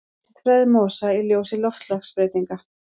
Vistfræði mosa í ljósi loftslagsbreytinga.